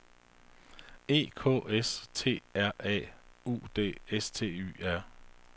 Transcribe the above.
E K S T R A U D S T Y R